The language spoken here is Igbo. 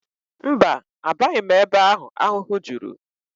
Mba, abaghị m ebe ahụ ahụhụ juru